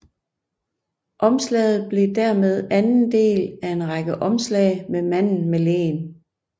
Omslaget blev dermed anden del af en række omslag med manden med leen